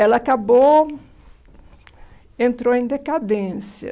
Ela acabou, entrou em decadência.